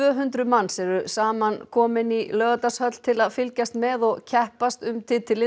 hundrað manns eru samankomin í Laugardalshöll til að fylgjast með og keppast um titilinn